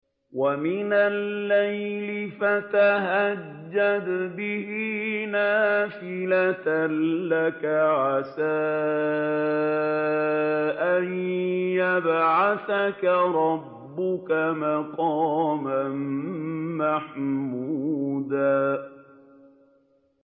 وَمِنَ اللَّيْلِ فَتَهَجَّدْ بِهِ نَافِلَةً لَّكَ عَسَىٰ أَن يَبْعَثَكَ رَبُّكَ مَقَامًا مَّحْمُودًا